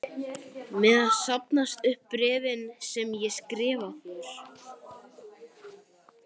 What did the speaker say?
meðan safnast upp bréfin sem ég skrifa þér.